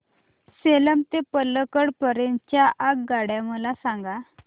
सेलम ते पल्लकड पर्यंत च्या आगगाड्या मला सांगा